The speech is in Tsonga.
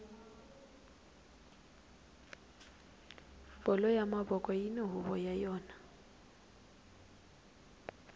bolo ya mavoko yini huvo ya yona